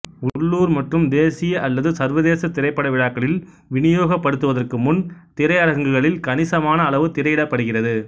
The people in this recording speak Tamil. உள்ளூர் மற்றும் தேசிய அல்லது சர்வதேச திரைப்பட விழாக்களில் விநியோகிக்கப்படுவதற்கு முன் திரையரங்குகளில் கணிசமான அளவு திரையிடப்படுகிறது